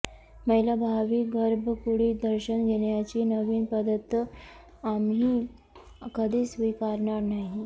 महिला भाविक गर्भकुडीत दर्शन घेण्याची नवीन पद्धत आम्ही कधीच स्वीकारणार नाही